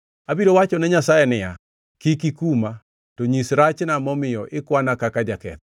Abiro wachone Nyasaye niya: Kik ikuma, to nyisa rachna momiyo ikwana kaka jaketho.